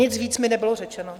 Nic víc mi nebylo řečeno.